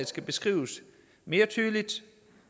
skal beskrives mere tydeligt